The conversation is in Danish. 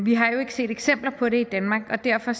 vi har jo ikke set eksempler på det i danmark og derfor